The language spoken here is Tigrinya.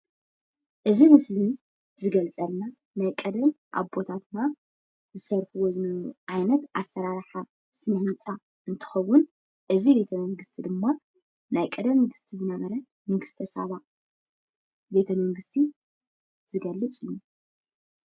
እዚ ምስሊ ዝገልፀልና ናይ ቀደም አቦታትና ዝሰርሕዎ ዝነበሩ ዓይነት አሰራርሓ ስነ ህንፃ እንትኸዉን እዚ ቤተመንግስቲ ድማ ናይ ቀደም ንግስቲ ዝነበረት ንግስተሳባ ቤተመንግስቲ ዝገልፅ እዩ።